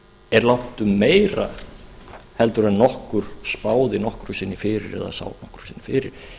er langtum meira en nokkur spáði nokkru sinni fyrir eða sá nokkru sinni fyrir